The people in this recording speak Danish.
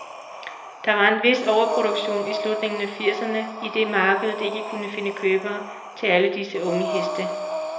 Der var en vis overproduktion i slutningen af firserne, idet markedet ikke kunne finde købere til alle disse unge heste.